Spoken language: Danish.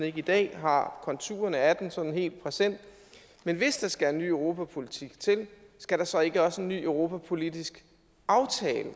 ikke i dag har konturerne af den sådan helt præsent hvis der skal en ny europapolitik til skal der så ikke også en ny europapolitisk aftale